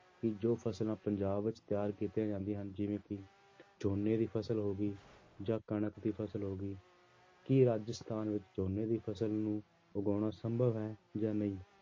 ਕਿ ਜੋ ਫ਼ਸਲਾਂ ਪੰਜਾਬ ਵਿੱਚ ਤਿਆਰ ਕੀਤੀਆਂ ਜਾਂਦੀਆਂ ਹਨ ਜਿਵੇਂ ਕਿ ਝੋਨੇ ਦੀ ਫ਼ਸਲ ਹੋ ਗਈ ਜਾਂ ਕਣਕ ਦੀ ਫ਼ਸਲ ਹੋ ਗਈ, ਕੀ ਰਾਜਸਥਾਨ ਵਿੱਚ ਝੋਨੇ ਦੀ ਫ਼ਸਲ ਨੂੰ ਉਗਾਉਣਾ ਸੰਭਵ ਹੈ ਜਾਂ ਨਹੀਂ